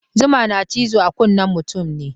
Zuma na cizo a kunnen mutum ne.